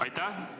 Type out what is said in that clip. Aitäh!